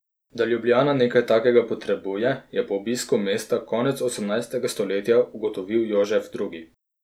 Da Ljubljana nekaj takega potrebuje, je po obisku mesta konec osemnajstega stoletja ugotovil Jožef drugi.